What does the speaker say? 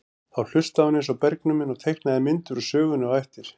Þá hlustaði hún eins og bergnumin og teiknaði myndir úr sögunni á eftir.